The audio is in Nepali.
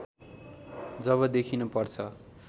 जब देखिन पर्छ